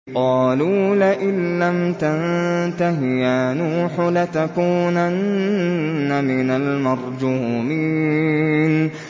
قَالُوا لَئِن لَّمْ تَنتَهِ يَا نُوحُ لَتَكُونَنَّ مِنَ الْمَرْجُومِينَ